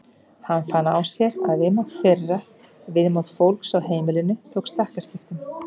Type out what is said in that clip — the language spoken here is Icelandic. Hann fann á sér að viðmót þeirra, viðmót fólks á heimilinu tók stakkaskiptum.